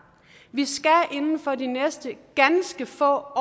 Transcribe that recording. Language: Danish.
vi skal inden for de næste ganske få